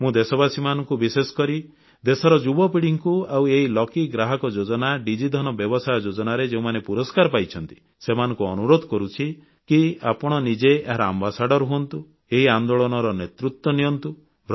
ମୁଁ ଦେଶବାସୀମାନଙ୍କୁ ବିଶେଷ କରି ଦେଶର ଯୁବପିଢ଼ିକୁ ଆଉ ଏହି ଲକି ଗ୍ରାହକ ଯୋଜନା ଡିଜିଧନ ବ୍ୟବସାୟ ଯୋଜନାରେ ଯେଉଁମାନେ ପୁରସ୍କାର ପାଇଛନ୍ତି ସେମାନଙ୍କୁ ଅନୁରୋଧ କରୁଛି କି ଆପଣ ନିଜେ ଏହାର ରାଷ୍ଟ୍ରଦୂତ ବା ଆମ୍ବାସଡର ହୁଅନ୍ତୁ ଏହି ଆନ୍ଦୋଳନର ନେତୃତ୍ୱ ନିଅନ୍ତୁ